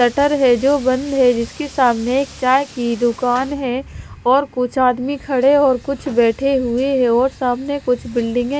shutter है जो बंद है जिसके सामने एक चाय की दुकान है और कुछ आदमी खड़े और कुछ बैठे हुए हैं और सामने कुछ बिल्डिंगे --